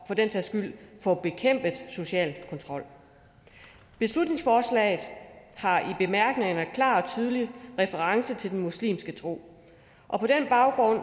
den sags skyld få bekæmpet social kontrol beslutningsforslaget har i bemærkningerne klar og tydelig reference til den muslimske tro og på den baggrund